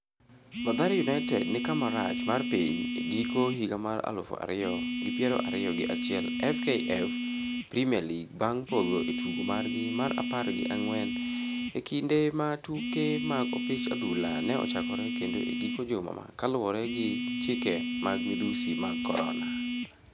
Mathare United ni kama rach mar piny e giko higa mar aluf ariyo gi piero ariyo gi achiel FKF Premier League bang' podho e tugo margi mar apar gi ang'wen e kinde ma tuke mag opich adhula ne ochakre kendo e giko juma ka luwore gi chike mag madhusi mag Corona.